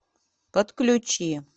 подключи